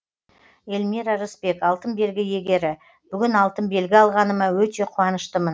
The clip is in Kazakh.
эльмира рысбек алтын белгі иегері бүгін алтын белгі алғаныма өте қуаныштымын